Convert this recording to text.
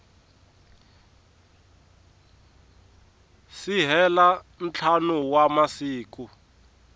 si hela ntlhanu wa masiku